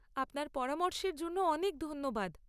আপনার পরামর্শের জন্য অনেক ধন্যবাদ।